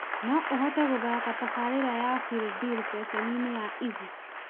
no ũhote gũthaaka tabarĩra ya feel dil ceceni-inĩ ya easy